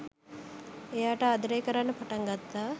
එයාට ආදරය කරන්න පටන් ගත්තා